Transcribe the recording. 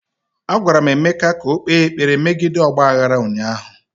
Agwara m Emeka ka o kpee ekpere megide ọgba aghara ụnyaahụ!